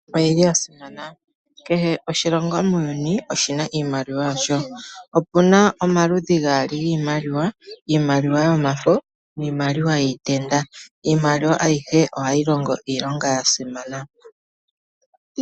Iimaliwa oyili yasimana kehe oshilongo muuyuni oshina iimaliwa yasho. Opuna omaludhi gaali giimaliwa . Iimaliwa yomafo niimaliwa yiitenda. Iimaliwa ayihe ohayi longo iilonga ya simana.